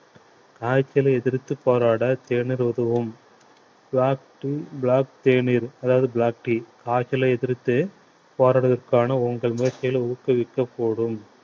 காய்ச்சலை எதிர்த்துப் போராட தேநீர் உதவும் black to black தேநீர் அதாவது black tea காய்ச்சலை எதிர்த்து போராடுவதற்கான உங்கள் முயற்சிகளை ஊக்குவிக்க கூடும்